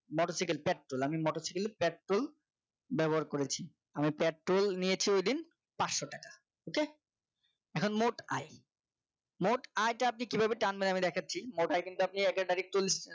মোটরসাইকেলের পেট্রোল আমি মোটরসাইকেল এর পেট্রোল ব্যবহার করেছে আমি পেট্রোল নিয়েছি ওই দিন পাঁচশো টাকা ok এখন মোট আয় মোট আয়টা আপনি কিভাবে টানবেন আমি দেখাচ্ছি মোট আয় কিন্তু আপনি এগারো তারিখ চল্লিশ